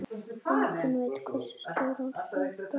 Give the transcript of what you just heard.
Enginn veit hversu stóran hluta.